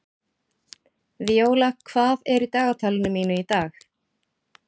Víóla, hvað er í dagatalinu mínu í dag?